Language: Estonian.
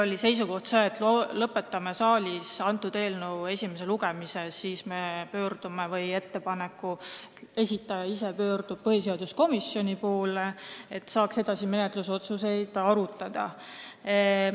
Meie seisukoht oli see, et lõpetame saalis selle eelnõu esimese lugemise, siis me pöördume või ettepaneku esitaja ise pöördub põhiseaduskomisjoni poole, et saaks edasisi menetlusotsuseid arutada.